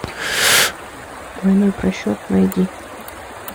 двойной просчет найди